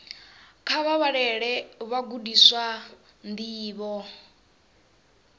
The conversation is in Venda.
kha vha vhalele vhagudiswa ndivho